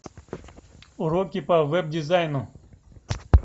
уроки по веб дизайну